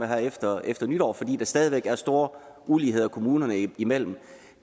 her efter efter nytår fordi der stadig væk er store uligheder kommunerne imellem